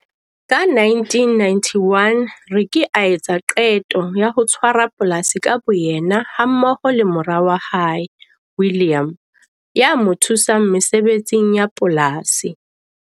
Ka 1991 Rykie a etsa qeto ya ho tshwara polasi ka boyena hammoho le mora wa hae, William, ya mo thusang mesebetsing ya polasi.